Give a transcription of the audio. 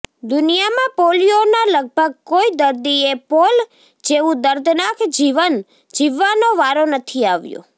દુનિયામાં પોલિયોના લગભગ કોઈ દર્દીએ પૌલ જેવું દર્દનાક જીવન જીવવાનો વારો નથી આવ્યો